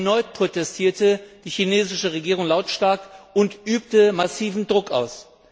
Erneut protestierte die chinesische Regierung lautstark und übte massiven Druck aus.